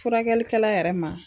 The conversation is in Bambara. Furakɛlikɛla yɛrɛ ma.